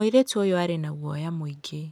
Mũirĩtu ũyũ aarĩ na guoya mũingĩ.